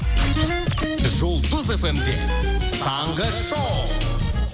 жұлдыз фм де таңғы шоу